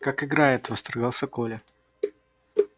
как играет восторгался коля